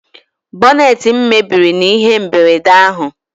Boneetị m mebiri n'ihe mberede ahụ